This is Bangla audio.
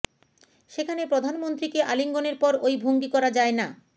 সেখানে প্রধানমন্ত্রীকে আলিঙ্গনের পর ওই ভঙ্গি করা যায় না